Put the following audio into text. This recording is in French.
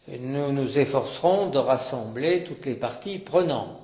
Nous nous efforcerons de rassembler toutes les parties prenantes.